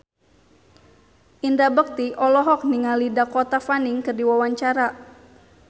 Indra Bekti olohok ningali Dakota Fanning keur diwawancara